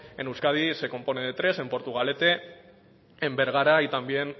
en euskadi se compone de tres en portugalete en bergara y también